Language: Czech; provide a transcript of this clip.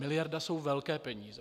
Miliarda jsou velké peníze.